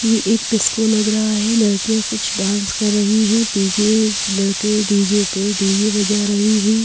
ये एक डिस्को लग रहा है लड़कियां कुछ डांस कर रही हैं पीछे लड़के डी_जे पे डी_जे बजा रहे हैं।